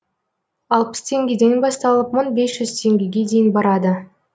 алпыс теңгеден басталып мығ бес жүз теңгеге дейін барады